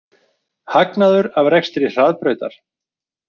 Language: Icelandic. Hagnaður af rekstri Hraðbrautar